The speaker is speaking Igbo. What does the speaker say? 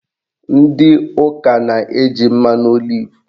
Ndị ụka na-eji mmanụ olivu